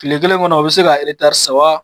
Kile kelen kɔnɔ o be se ka eretari saba